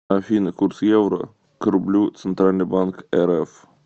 афина курс евро к рублю центральный банк рф